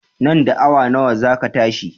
Nan da awa nawa za ka tashi?